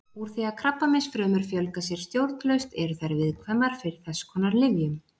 Úr því að krabbameinsfrumur fjölga sér stjórnlaust eru þær viðkvæmar fyrir þess konar lyfjum.